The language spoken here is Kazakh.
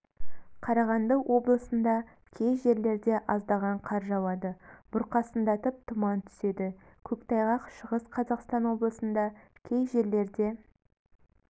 қарағанды облысында кей жерлерде аздаған қар жауады бұрқасындатып тұман түседі көктайғақ шығыс қазақстан облысында кей жерлерде